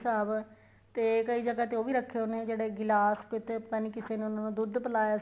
ਸ਼੍ਰੀ ਸਾਹਿਬ ਤੇ ਕਈ ਜਗ੍ਹਾ ਤੇ ਉਹ ਵੀ ਰੱਖ਼ੇ ਹੋਏ ਨੇ ਜਿਹੜੇ ਗਿਲਾਸ ਕਿੱਥੇ ਪਤਾ ਨਹੀਂ ਕਿਸੇ ਨੇ ਉਹਨਾ ਨੂੰ ਦੁੱਧ ਪਿਲਾਇਆ ਸੀ